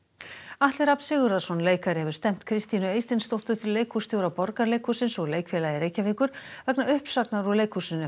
Atli Rafn Sigurðarson leikari hefur stefnt Kristínu Eysteinsdóttur leikhússtjóra Borgarleikhússins og Leikfélagi Reykjavíkur vegna uppsagnar úr leikhúsinu